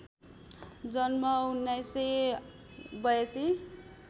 जन्म १९८२